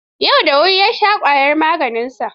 Yau da wuri ya sha ƙwayar maganinsa.